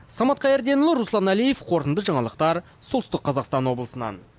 самат қайырденұлы руслан әлиев қорытынды жаңалықтар солтүстік қазақстан облысынан